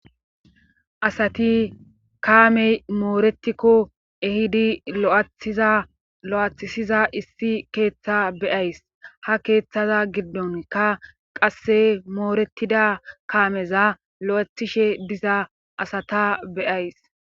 asati kaamey mooretikko ehidi asati lo7athisiza issi keeththa beyays ha keeththaza giddonka qasse mooretida kaameza lo7ethishe diza asata beyays